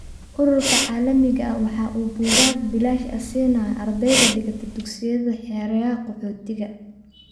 Ururka caalamiga ahi waxa uu buugaag bilaash ah siinayaa ardayda dhigata dugsiyada xeryaha qaxootiga.